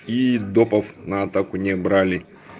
и допов на атаку не брали